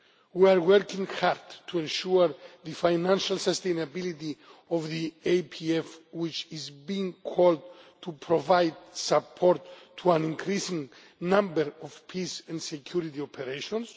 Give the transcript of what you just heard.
We are working hard to ensure the financial sustainability of the APF, which is being called on to provide support to an increasing number of peace and security operations.